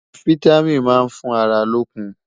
fìtámín má n fún àrà lókùn